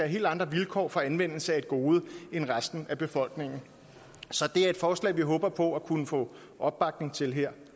helt andre vilkår for anvendelse af et gode end resten af befolkningen så det er et forslag vi håber på at kunne få opbakning til her